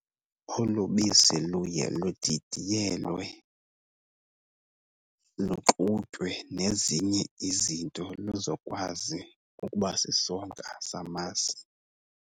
Olu bisi luye ludidiyelwe, luxutywe nezinye izinto luzokwazi ukuba sisonka samasi.